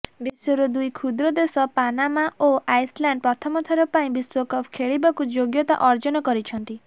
ବିଶ୍ୱର ଦୁଇ କ୍ଷୁଦ୍ର ଦେଶ ପାନାମା ଓ ଆଇସ୍ଲାଣ୍ଡ ପ୍ରଥମଥର ପାଇଁ ବିଶ୍ୱକପ୍ ଖେଳିବାକୁ ଯୋଗ୍ୟତା ଅର୍ଜନ କରିଛନ୍ତି